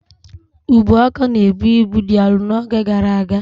Ubuaka na-ebu ibu dị arọ n'oge gara aga.